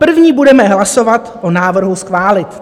První budeme hlasovat o návrhu schválit."